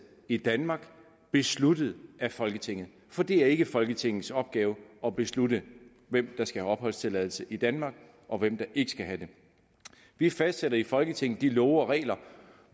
i danmark besluttet af folketinget for det er ikke folketingets opgave at beslutte hvem der skal have opholdstilladelse i danmark og hvem der ikke skal have det vi fastsætter i folketinget de love og regler